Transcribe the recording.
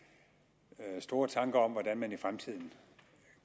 jeg store tanker om hvordan man i fremtiden